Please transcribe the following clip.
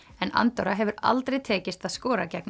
en Andorra hefur aldrei tekist að skora gegn